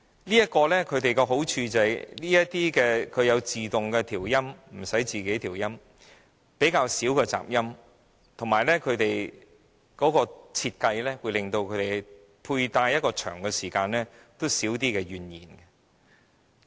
這種助聽器的好處是有自動調音，無須自行調音、較少雜音，以及設計令使用者在長時間配戴下減少怨言。